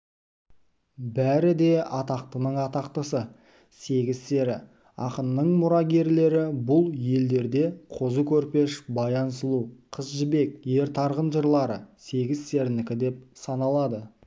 бәрі де атақтының атақтысы сегіз-сері ақынның мұрагерлері бұл елдерде қозы көрпеш баян сұлу қыз жібек ер тарғын жырлары сегіз-серінікі деп саналады